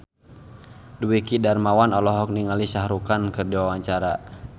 Dwiki Darmawan olohok ningali Shah Rukh Khan keur diwawancara